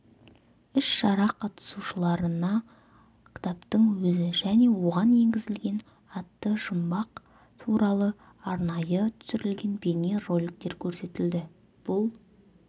іс-шара қатысушыларына кітаптың өзі және оған енгізілген атты жұмбақ туралы арнайы түсірілген бейне роликтер көрсетілді бұл